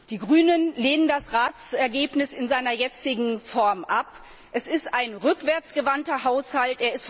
Die Grünen lehnen das Ratsergebnis in seiner jetzigen Form ab. Es ist ein rückwärts gewandter Haushalt.